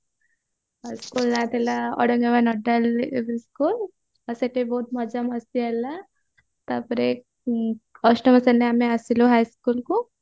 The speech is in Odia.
ଆଉ school ନାଁ ଥିଲା ନୋଡାଲ UP school ଆଉ ସେଠି ବହୁତ ମଜା ମସ୍ତି ହେଲା ତାପରେ first ରେ ଆମେ ଆସିଲୁ high school କୁ